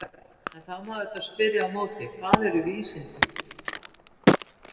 En þá má auðvitað spyrja á móti: Hvað eru vísindi?